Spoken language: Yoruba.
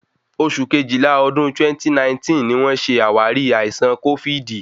Oṣù Kejìlá ọdún 2019 ni wón ṣe àwárí àìsàn kófíìdì.